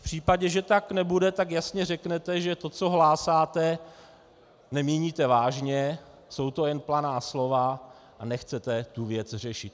V případě, že tak nebude, tak jasně řeknete, že to, co hlásáte, nemíníte vážně, jsou to jen planá slova a nechcete tu věc řešit.